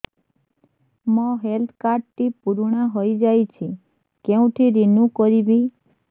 ମୋ health card ଟି ପୁରୁଣା ହେଇଯାଇଛି କେଉଁଠି ରିନିଉ କରିବି